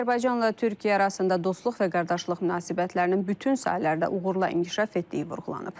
Azərbaycanla Türkiyə arasında dostluq və qardaşlıq münasibətlərinin bütün sahələrdə uğurla inkişaf etdiyi vurğulanıb.